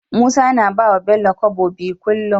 Musa na bawa bello kobo biyu kullun